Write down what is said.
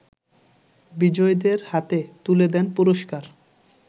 বিজয়ীদের হাতে তুলে দেন পুরষ্কার